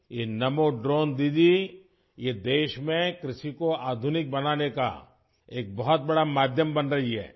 یہ نمو ڈرون دیدی، یہ ملک میں زراعت کو جدید بنانے کا ایک بڑا ذریعہ بن رہا ہے